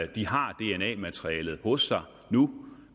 de har dna materialet hos sig nu